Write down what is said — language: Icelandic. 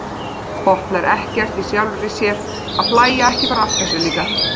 Botnar ekkert í sjálfri sér að hlæja ekki bara að þessu líka.